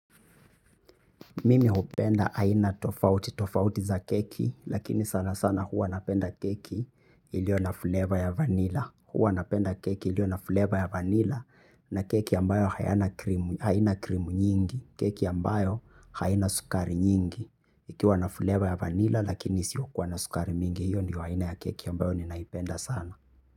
Mimi hupenda aina tofauti, tofauti za keki, lakini sana sana huwa napenda keki ilio na flava ya vanilla. Huwa napenda keki ilio na flava ya vanilla na keki ambayo haina krimu nyingi, keki ambayo haina sukari nyingi. Ikiwa na flava ya vanilla lakini isiyokuwa na sukari mingi, hiyo ndio aina ya keki ambayo ninaipenda sana.